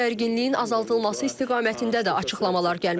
Gərginliyin azaldılması istiqamətində də açıqlamalar gəlməkdədir.